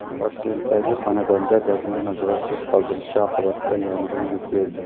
Toshkentdagi xonadonda dazmol nazoratsiz qoldirilishi oqibatida yong‘in yuz berdi.